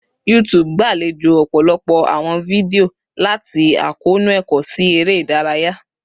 YouTube gbalejo ọpọlọpọ awọn fidio, lati akoonu ẹkọ si ere idaraya